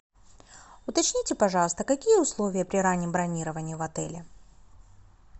уточните пожалуйста какие условия при раннем бронировании в отеле